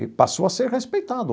E passou a ser respeitado.